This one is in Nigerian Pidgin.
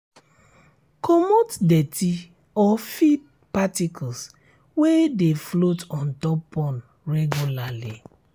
comot dirt or feed particles wey dey float on top pond regularly